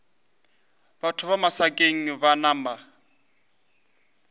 batho ba masakeng ba napa